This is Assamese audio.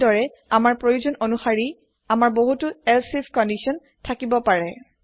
এই দৰে আমাৰ প্ৰয়োজন আনুসাৰি আমাৰ বহুতু এলচিফ কন্দিছন থাকিব পাৰে